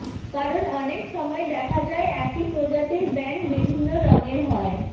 কারণ অনেক সময় দেখা যায় একই প্রজাতির ব্যাঙ বিভিন্ন রঙের হয়